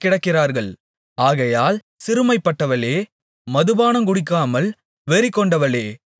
ஆகையால் சிறுமைப்பட்டவளே மதுபானங்குடிக்காமல் வெறிகொண்டவளே நீ கேள்